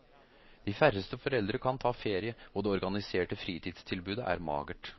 De færreste foreldre kan ta ferie, og det organiserte fritidstilbudet er magert.